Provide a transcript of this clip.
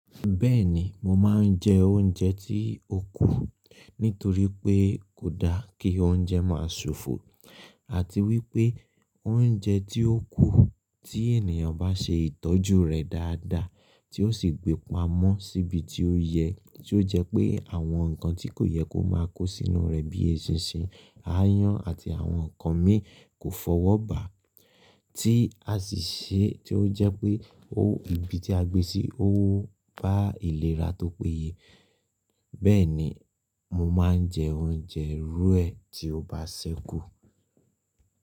Bẹ́ẹ̀ni, mo máa ń jẹ oúnjẹ tí ó kù nítorí pé kò da kí oúnjẹ máa ṣòfò àti wípé oúnjẹ tí ó kù tí ènìyàn bá ṣe ìtọ́jú rẹ̀ dáadáa tí ó sì gbé pa mọ́ síbi tí ó yẹ tí ó jẹ́ pé àwọn nǹkan tí kò yẹ kó máa kó sínú rẹ̀ bíi eṣinṣin, aáyán àti àwọn nǹkan mìíràn kò fọwọ́ bà á tí a sì ṣe tí ó jẹ́ pé ó ibi tí a gbé sí ó bá ìlera tó péye. Bẹ́ẹ̀ni, mo máa ń jẹ oúnjẹ irú ẹ tí ó bá ṣẹ́kù.